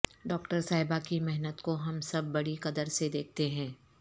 doctor صاحبہ کی محنت کو ہم سب بڑی قدر سے دیکھتے ہیں